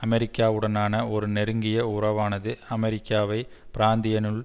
அமெரிக்காவுடனான ஒரு நெருங்கிய உறவானது அமெரிக்காவை பிராந்தியத்தினுள்